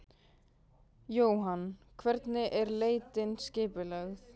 Jóhann: Hvernig er leitin skipulögð?